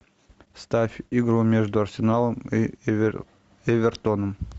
ставь игру между арсеналом и эвертоном